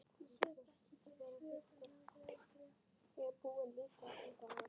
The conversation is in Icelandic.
Sögulega séð getur margt gerst Kristján Már?